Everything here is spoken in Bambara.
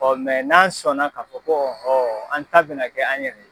n'an sɔnna k'a fɔ ko ɔhɔ an ta bɛna kɛ an yɛrɛ ye